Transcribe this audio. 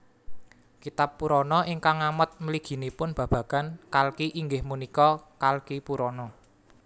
Kitab Purana ingkang ngamot mliginipun babagan Kalki inggih punika Kalkipurana